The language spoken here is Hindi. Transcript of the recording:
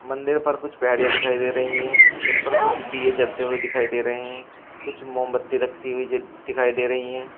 मंदिर पर कुछ पेड़िया दिखाई दे रही है जिन पर कुछ दिए जलते हुए दिखाई दे रहे हैं कुछ मोमबत्ती रखती हुई ज दिखाई दे रही है।